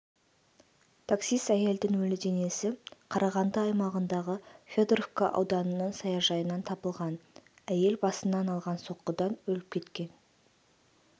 таксист әйелдің өлі денесі қарағанды аймағындағы федоровка ауданының саяжайынан табылған әйел басынан алған соққыданөліп кеткен